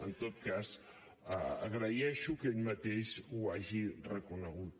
en tot cas agraeixo que ell mateix ho hagi reconegut